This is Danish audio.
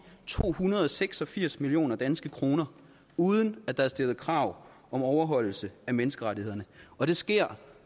to hundrede og seks og firs millioner danske kroner uden at der er stillet krav om overholdelse af menneskerettighederne og det sker